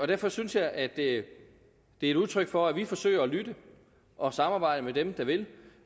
derfor synes jeg at det er et udtryk for at vi forsøger at lytte og samarbejde med dem der vil